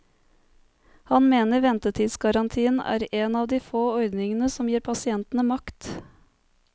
Han mener ventetidsgarantien er en av de få ordningene som gir pasientene makt.